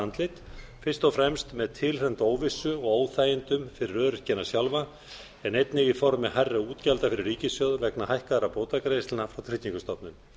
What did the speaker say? andlit fyrst og fremst með tilheyrandi óvissu og óþægindum fyrir öryrkjana sjálfa en einnig í formi hærri útgjalda fyrir ríkissjóð vegna hækkaðra bótagreiðslna frá tryggingastofnun